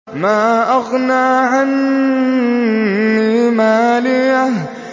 مَا أَغْنَىٰ عَنِّي مَالِيَهْ ۜ